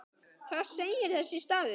Hvað segir þessi stafur?